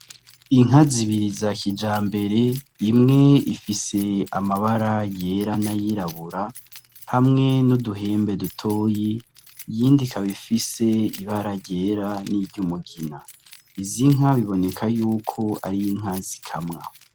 Inka zibiri za kijambere imwe ifise amabara yera n' ayirabura hamwe n' uduhembe dutoyi iyindi ikaba ifise ibara ryera n' iryumugina izi nka biboneka yuko ari inka zikamwa.